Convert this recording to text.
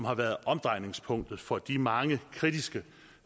har været omdrejningspunktet for de mange kritiske